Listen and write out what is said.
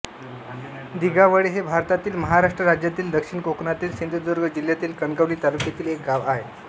दिगावळे हे भारतातील महाराष्ट्र राज्यातील दक्षिण कोकणातील सिंधुदुर्ग जिल्ह्यातील कणकवली तालुक्यातील एक गाव आहे